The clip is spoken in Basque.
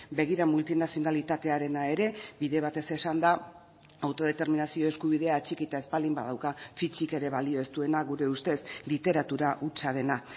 begira multinazionalitatearena ere bide batez esanda autodeterminazio eskubidea atxikita ez baldin badauka fitsik ere balio ez duena gure ustez literatura hutsa dena